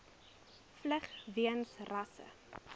vlug weens rasse